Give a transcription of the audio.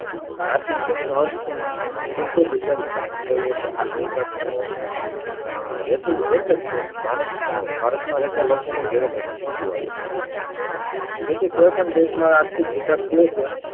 આર્થિકવિકાસ નો અર્થ શું? શુદ્ધ ગુજરાતીમાં સમજાવીયે તો આર્થિક અ હેતુ એક જ છે ભારત અને ભારત માં રહેતા લોકો નું જીવન ધોરણ ઉચ્ચું આવે તેથી કોઈ પણ દેશ નો આર્થિકવિકાસ થયો છે